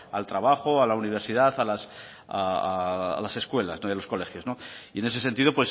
al trabajo a la universidad a las escuelas y a los colegios y en ese sentido